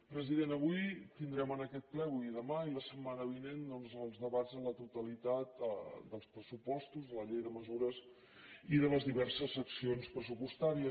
president avui tindrem en aquest ple avui i demà i la setmana vinent doncs els debats a la totalitat dels pressupostos de la llei de mesures i de les diverses seccions pressupostàries